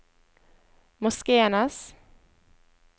Moskenes